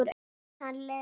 Hann Leó?